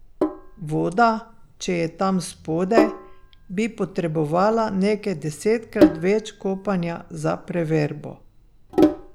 Voda, če je tam spodaj, bi potrebovala nekaj desetkrat več kopanja za preverbo.